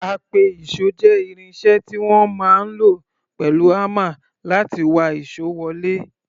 Apẹ-ìṣò jẹ́ irin iṣẹ́ tí wọ́n máa ń lò pẹ̀lú hámà láti wa ìṣó wọlé.